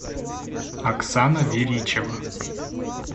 оксана веричева